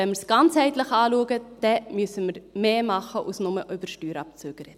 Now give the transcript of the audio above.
Wenn wir es ganzheitlich betrachten, müssen wir mehr tun als bloss über Steuerabzüge zu sprechen.